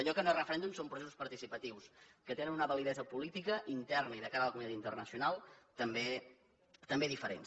allò que no és referèndum són processos participatius que tenen una validesa política interna i de cara a la comunitat internacional també diferents